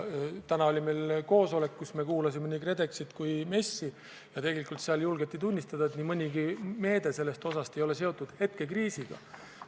Täna oli meil koosolek, kus me kuulasime nii KredExit kui MES-i, ja seal julgeti tunnistada, et nii mõnigi päevakorral olev meede ei ole seotud praeguse kriisiga.